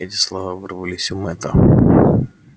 эти слова вырвались у мэтта